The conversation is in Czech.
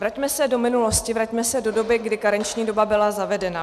Vraťme se do minulosti, vraťme se do doby, kdy karenční doba byla zavedena.